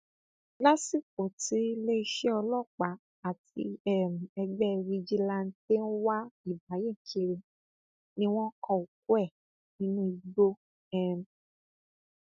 lásìkò tí iléeṣẹ ọlọpàá àti um ẹgbẹ fìjìláńtẹ ń wá ibrahim kiri ni wọn kan òkú ẹ nínú igbó um